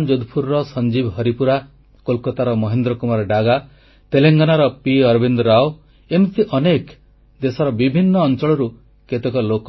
ରାଜସ୍ଥାନ ଯୋଧପୁରର ସଞ୍ଜୀବ ହରିପୁରା କୋଲକାତାର ମହେନ୍ଦ୍ର କୁମାର ଡାଗା ତେଲଙ୍ଗାନାର ପି ଅରବିନ୍ଦ ରାଓ ଏମିତି ଅନେକ ଦେଶର ବିଭିନ୍ନ ଅଂଚଳରୁ କେତେକ ଲୋକ